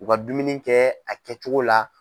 U ka dumuni kɛ a kɛcogo la.